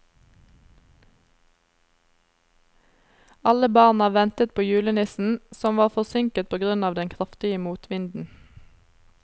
Alle barna ventet på julenissen, som var forsinket på grunn av den kraftige motvinden.